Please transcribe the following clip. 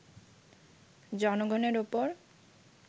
জনগণের ওপর